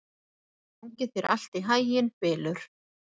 Gangi þér allt í haginn, Bylur.